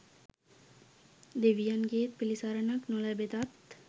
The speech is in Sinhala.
දෙවියන්ගේත් පිළිසරණක් නොලැබෙතත්,